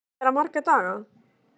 Kristján Már: Búinn að vera marga daga?